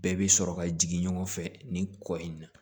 Bɛɛ bɛ sɔrɔ ka jigin ɲɔgɔn fɛ nin kɔ in na